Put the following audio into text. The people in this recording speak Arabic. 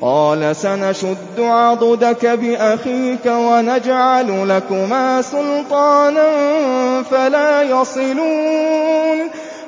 قَالَ سَنَشُدُّ عَضُدَكَ بِأَخِيكَ وَنَجْعَلُ لَكُمَا سُلْطَانًا